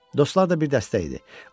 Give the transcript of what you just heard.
Dostlar da bir dəstə idi.